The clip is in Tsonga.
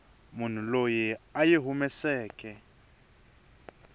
munhu loyi a yi humeseke